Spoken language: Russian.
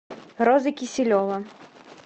роза киселева